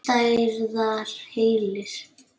Stærðar hellir?